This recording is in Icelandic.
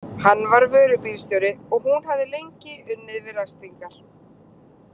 Hann var vörubílsjóri og hún hafði lengi unnið við ræstingar.